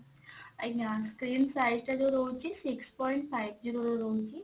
ଆଜ୍ଞା screen size ଟା ଯଉ ରହୁଛି six point five zero ର ରହୁଛି